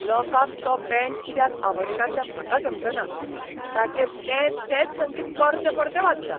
लोकांक तो बँड कित्याक आवडटा तें म्हाका समजना. ताचेर तेंच तेंच संगीत परतें परतें वाजता.